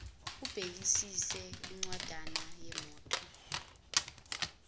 ubhekisise incwanjana yemoto